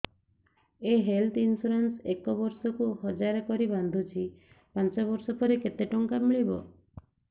ମୁ health insurance ଏକ ବର୍ଷକୁ ହଜାର କରି ବାନ୍ଧୁଛି ପାଞ୍ଚ ବର୍ଷ ପରେ କେତେ ଟଙ୍କା ମିଳିବ